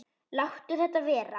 Láttu þetta vera!